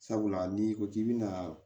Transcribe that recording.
Sabula n'i ko k'i bɛ na